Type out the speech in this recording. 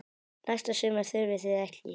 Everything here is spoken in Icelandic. Næsta sumar þurfið þið ekki.